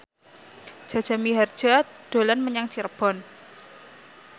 Jaja Mihardja dolan menyang Cirebon